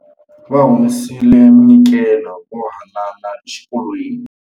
Va humesile munyikelo wo haanana exikolweni.